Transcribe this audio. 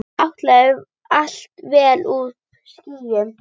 Áætluð vél uppí skýjum.